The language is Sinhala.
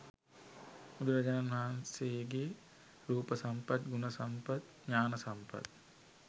බුදුරජාණන් වහන්සේගෙ රූප සම්පත් ගුණ සම්පත් ඥාන සම්පත්